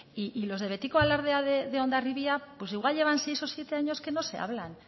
y los de betiko alardeak de hondarribia pues igual llevan seis o siete años que no se hablan